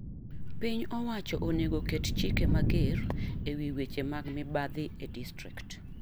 Piny owacho onego ket chike mager ewi weche mag mibadhi e distrikt.